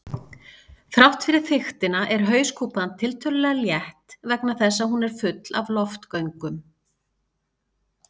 Þrátt fyrir þykktina er hauskúpan tiltölulega létt vegna þess að hún er full af loftgöngum.